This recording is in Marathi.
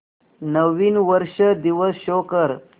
नवीन वर्ष दिवस शो कर